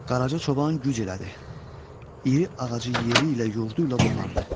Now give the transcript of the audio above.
Qaraca çoban güc elədi, iri ağacı yeri ilə, yurdu ilə qopardı.